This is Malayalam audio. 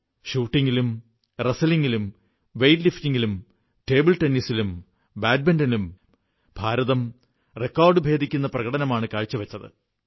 ഷൂട്ടിംഗിലും ഗുസ്തിയിലും വെയ്റ്റ്ലിഫ്റ്റിംഗിലും ടേബിൾ ടെന്നീസിലും ബാഡ്മിന്റനിലും ഇന്ത്യ റെക്കോർഡുഭേദിക്കുന്ന പ്രകടനമാണു കാഴ്ച വച്ചത്